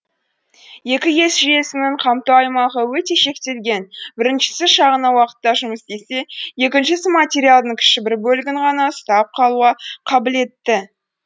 екі ес жүйесінің қамту аймағы өте шектелген біріншісі шағын уақытқа жұмыс істесе екіншісі материалдың кіші бір бөлігін ғана ұстап қалуға қабілетті